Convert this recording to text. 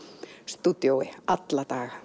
stúdíói alla daga